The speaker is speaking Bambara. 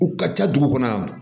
U ka ca dugu kɔnɔ